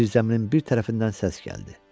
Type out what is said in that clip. Zirzəminin bir tərəfindən səs gəldi.